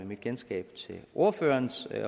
mit kendskab til ordførerens